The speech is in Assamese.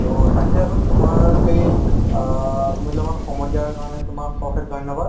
ট তাকেই আৰু তুমাৰ সেই আ মুল্যবান সময় দিয়া কাৰণে তুমাক অসেশ ধন্যবাদ